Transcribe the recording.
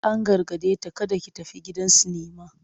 An gargade ta "kada ki tafi gidan sinima!"